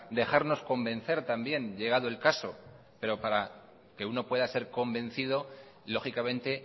dejarnos convencer también llegado el caso pero para que uno pueda ser convencido lógicamente